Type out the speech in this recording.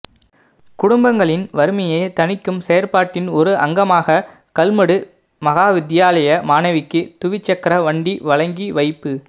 குடும்பங்களின் வறுமையை தணிக்கும் செயற்பாட்டின் ஒரு அங்கமாக கல்மடு மகாவித்தியாலய மாணவிக்கு துவிச்சக்கர வண்டி வழங்கி வைப்பு